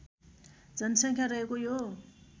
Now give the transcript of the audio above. जनसङ्ख्या रहेको यो